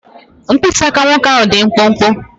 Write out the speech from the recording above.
Mkpịsị aka nwoke ahụ dị mkpụmkpụ.